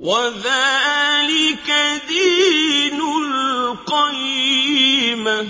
وَذَٰلِكَ دِينُ الْقَيِّمَةِ